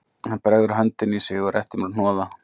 Hann bregður hönd inn á sig og réttir mér hnoða